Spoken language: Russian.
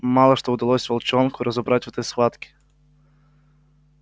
мало что удалось волчонку разобрать в этой схватке